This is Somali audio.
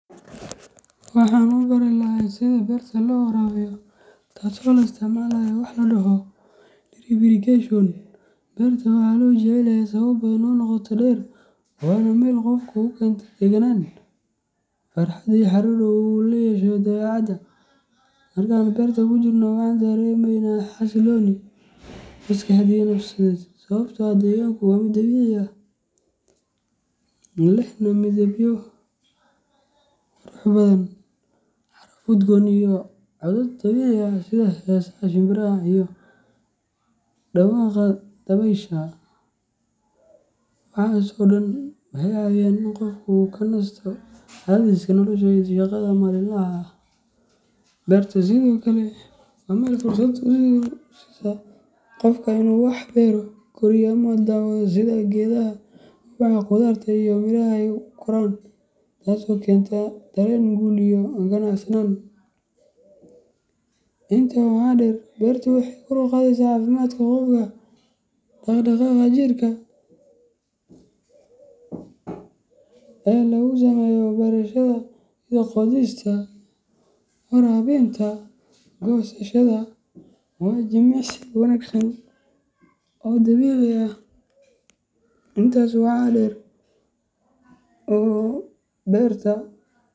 Waxaan u bari lahay sidaa berta loo warabiyo ,taso laisticmalayo wax ladoho drip irrigation. Beerta waxaa loo jecel yahay sababo badan oo qoto dheer leh, waana meel qofka u keenta deganaan, farxad iyo xiriir dhow oo uu la yeesho dabeecadda. Marka aan beerta ku jirno, waxaan dareemeynaa xasillooni maskaxeed iyo nafsiyeed sababtoo ah deegaanku waa mid dabiici ah, lehna midabyo qurux badan, caraf udgoon iyo codad dabiici ah sida heesaha shimbiraha iyo dhawaqa dabaysha. Waxaas oo dhan waxay caawiyaan in qofku uu ka nasto cadaadiska nolosha iyo shaqada maalinlaha ah. Beertu sidoo kale waa meel fursad u siisa qofka in uu wax beero, koriyo ama daawado sida geedaha, ubaxa, khudaarta iyo miraha ay u koraan, taasoo keenta dareen guul iyo qanacsanaan. Intaa waxaa dheer, beertu waxay kor u qaadaa caafimaadka qofka. Dhaqdhaqaaqa jirka ee lagu sameeyo beerashada, sida qodista, waraabinta iyo goosashada, waa jimicsi wanaagsan oo dabiici ah. Intaas waxaa dheer, oo berta.